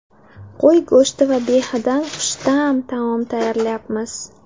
Qo‘y go‘shti va behidan xushta’m taom tayyorlaymiz.